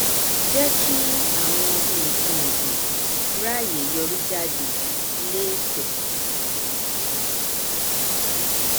jẹ kí àwọn nkanọgbìn ráàyè yọrí jáde léèpẹ